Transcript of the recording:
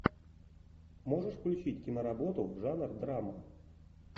можешь включить киноработу жанр драма